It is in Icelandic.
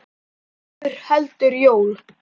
Álfur heldur jól.